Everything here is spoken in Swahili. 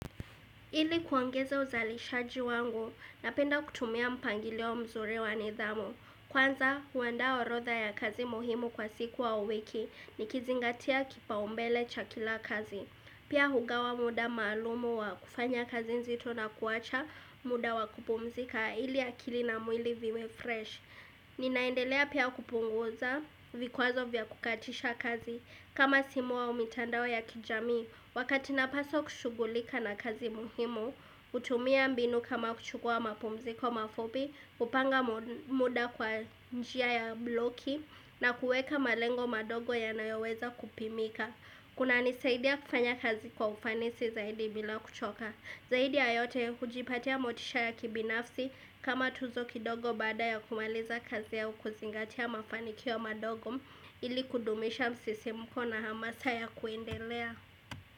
Ili kuongeza uzalishaji wangu, napenda kutumia mpangilio mzuri wa nidhamu. Kwanza, huanda orodha ya kazi muhimu kwa siku au wiki nikizingatia kipaumbele cha kila kazi. Pia hugawa muda maalumu wa kufanya kazi nzito na kuacha muda wa kupumzika ili akili na mwili viwe fresh. Ninaendelea pia kupunguza vikwazo vya kukatisha kazi. Kama simu au mitandao ya kijamii, wakati napaswa kushughulika na kazi muhimu, hutumia mbinu kama kuchukua mapumziko mafupi, kupanga muda kwa njia ya bloki na kueka malengo madogo yanayoweza kupimika. Kunanisaidia kufanya kazi kwa ufanisi zaidi bila kuchoka. Zaidi ya yote ya kujipatia motisha ya kibinafsi kama tuzo kidogo baada ya kumaliza kazi au kuzingatia mafanikio madogo ili kudumisha msisimuko na hamasa ya kuendelea.